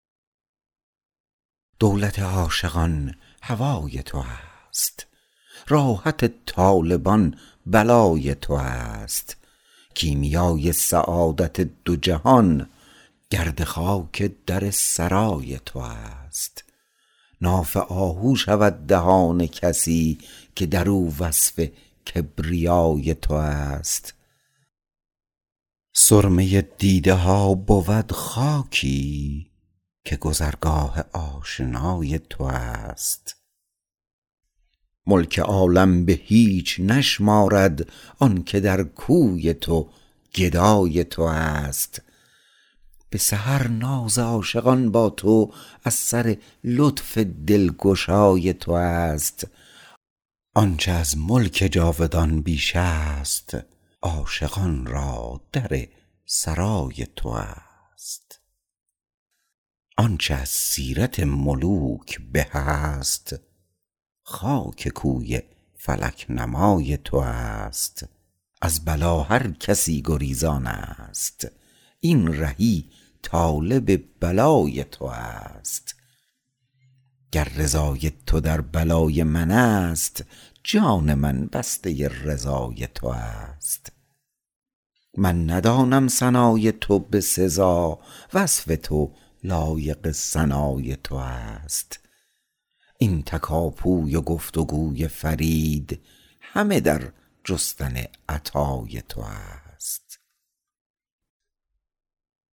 دولت عاشقان هوای تو است راحت طالبان بلای تو است کیمیای سعادت دو جهان گرد خاک در سرای تو است ناف آهو شود دهان کسی که درو وصف کبریای تو است سرمه دیده ها بود خاکی که گذرگاه آشنای تو است ملک عالم به هیچ نشمارد آنکه در کوی تو گدای تو است به سحر ناز عاشقان با تو از سر لطف دلگشای تو است آنچه از ملک جاودان بیش است عاشقان را در سرای تو است آنچه از سیرت ملوک به است خاک کوی فلک نمای تو است از بلا هر کسی گریزان است این رهی طالب بلای تو است گر رضای تو در بلای من است جان من بسته رضای تو است من ندانم ثنای تو به سزا وصف تو لایق ثنای تو است این تکاپوی و گفت و گوی فرید همه در جستن عطای تو است